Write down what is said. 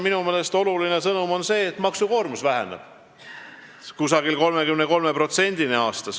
Minu meelest on oluline sõnum ka see, et maksukoormus väheneb umbes 33%-ni aastas.